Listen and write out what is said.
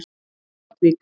Saltvík